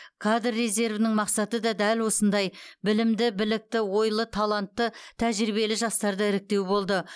кадр резервінің мақсаты да дәл осындай білімді білікті ойлы талантты тәжірибелі жастарды іріктеу болды